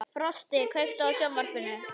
Frosti, kveiktu á sjónvarpinu.